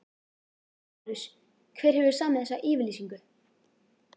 LÁRUS: Hver hefur samið þessa yfirlýsingu?